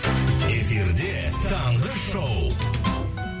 эфирде таңғы шоу